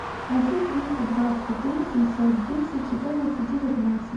один триста двадцать три семьсот десять четырнадцать девятнадцать